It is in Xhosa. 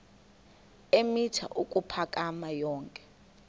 eemitha ukuphakama yonke